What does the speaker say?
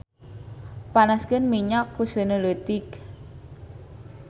Panaskeun minyak ku seuneu leutik.